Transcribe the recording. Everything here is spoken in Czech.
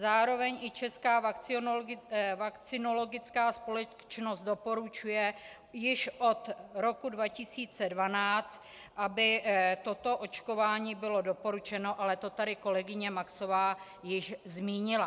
Zároveň i Česká vakcinologická společnost doporučuje již od roku 2012, aby toto očkování bylo doporučeno, ale to tady kolegyně Maxová již zmínila.